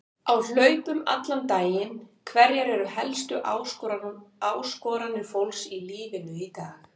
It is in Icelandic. Á hlaupum allan daginn Hverjar eru helstu áskoranir fólks í lífinu í dag?